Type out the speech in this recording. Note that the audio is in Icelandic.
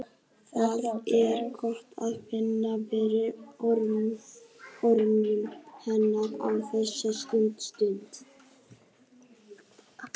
Það er gott að finna fyrir örmum hennar á þessari stundu.